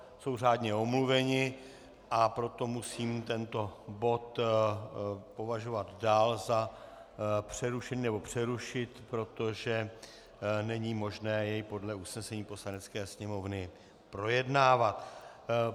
Jsou řádně omluveni, a proto musím tento bod považovat dál za přerušený, nebo přerušit, protože není možné jej podle usnesení Poslanecké sněmovny projednávat.